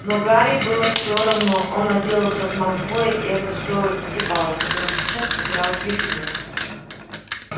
но гарри было всё равно он отделался от малфоя и это стоило пяти баллов которые сейчас потерял гриффиндор